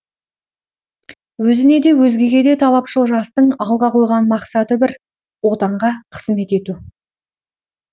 өзіне де өзгеге де талапшыл жастың алға қойған мақсаты бір отанға қызмет ету